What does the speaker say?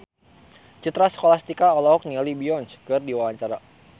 Citra Scholastika olohok ningali Beyonce keur diwawancara